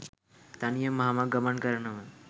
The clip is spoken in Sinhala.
තනියම මහමග ගමන් කරනව